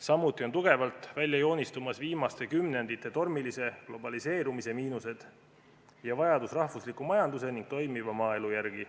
Samuti on tugevalt välja joonistumas viimaste kümnendite tormilise globaliseerumise miinused ja vajadus rahvusliku majanduse ning toimiva maaelu järele.